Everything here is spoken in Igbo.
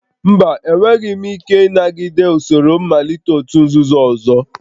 Mba, enweghị m ike ịnagide usoro mmalite òtù nzuzo ọzọ